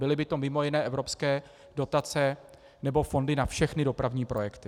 Byly by to mimo jiné evropské dotace nebo fondy na všechny dopravní projekty.